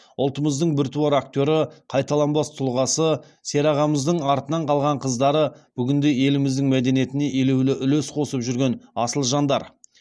ұлтымыздың біртуар актері қайталанбас тұлғасы серағамыздың артынан қалған қыздары бүгінде еліміздің мәдениетіне елеулі үлес қосып жүрген асыл жандар